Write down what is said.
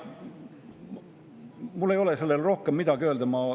Mul ei ole selle kohta rohkem midagi öelda.